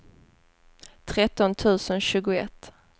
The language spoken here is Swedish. tretton tusen tjugoett